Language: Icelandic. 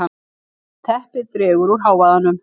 Teppið dregur úr hávaðanum.